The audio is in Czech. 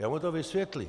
Já mu to vysvětlím.